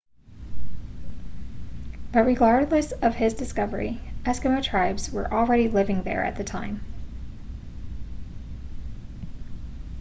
but regardless of his discovery eskimo tribes were already living there at the time